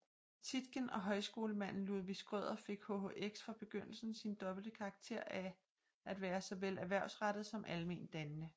Tietgen og højskolemanden Ludvig Schrøder fik HHX fra begyndelsen sin dobbelte karakter af at være såvel erhvervsrettet som almendannende